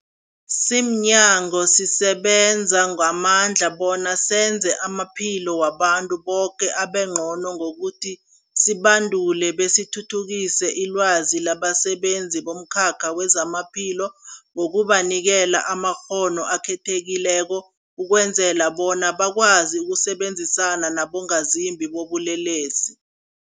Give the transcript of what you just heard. Simnyango, sisebenza ngamandla bona senze amaphilo wabantu boke abengcono ngokuthi sibandule besithuthukise ilwazi labasebenzi bomkhakha wezamaphilo ngokubanikela amakghono akhethekileko ukwenzela bona bakwazi ukusebenzisana nabongazimbi bobulelesi.